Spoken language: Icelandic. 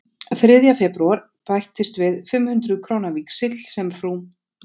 Þriðja febrúar bættist við fimm hundruð króna víxill sem frú